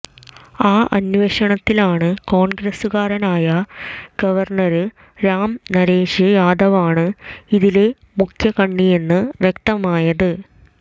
ആ അന്വേഷണത്തിലാണ് കോണ്ഗ്രസുകാരനായ ഗവര്ണര് രാം നരേഷ് യാദവാണ് ഇതിലെ മുഖ്യകണ്ണിയെന്ന് വ്യക്തമായത്